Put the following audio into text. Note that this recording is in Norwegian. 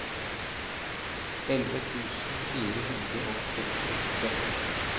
elleve tusen fire hundre og sekstiåtte